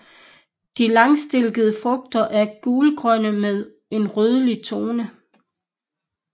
De langstilkede frugter er gulgrønne med en rødlig tone